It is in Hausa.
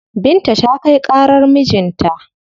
Binta ta kai ƙarar mijin ta.